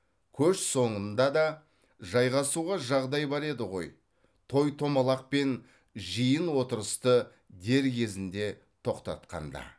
көш соңында да жайғасуға жағдай бар еді ғой той томалақ пен жиын отырысты дер кезінде тоқтатқанда